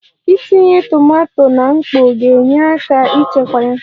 Itinye tomato na mkpọ ga-enyere aka chekwaa ya